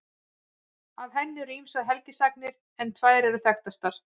Af henni eru ýmsar helgisagnir en tvær eru þekktastar.